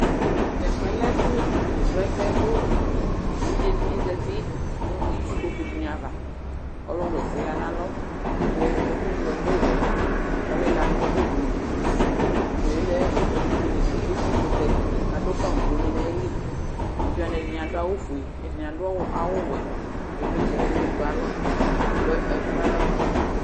Tʋ ɛfʋ yɛ lɛ ɛfʋ srɔ ɛsɛ kʋ evidze dɩnɩ zati nʋ itsukpoku dɩnɩ ava, ɔlʋ wa ɛsɛ yɛ ya nʋ alɔ, kʋ ɛkʋŋlo ɛkʋ wɛ ɔlɩla nʋ ugli dɩ, ugli yɛ lɛ etikʋtɛ kʋ adʋ pamplonɩ nʋ ayili, evidze wanɩ ɛdɩnɩ adʋ awʋ fue, ɛdɩnɩ adʋ awʋ wɛ kʋ ɩvlɩtsɛ lɛ nʋ ɔlʋ edigbo ayʋ alɔ kʋ edigbo ekple aɣla mu fa nʋ ava